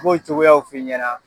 N b'o cogoyaw f'i ɲɛna.